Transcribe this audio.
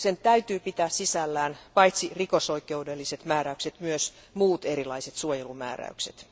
Sen täytyy pitää sisällään paitsi rikosoikeudelliset määräykset, myös muut erilaiset suojelumääräykset.